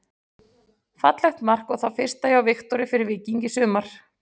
Fallegt mark og það fyrsta hjá Viktori fyrir Víking í sumar.